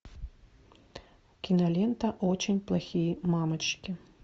кинолента очень плохие мамочки